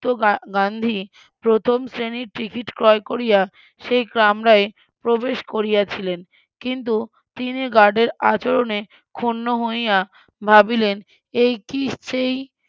যুক্ত গান্ধী প্রথম শ্রেণীর টিকিট ক্রয় করিয়া সেই কামরায় প্রবেশ করিয়াছিলেন কিন্তু তিনি গার্ডের আচরনে ক্ষুণ্ণ হইয়া ভাবিলেন এই কি সেই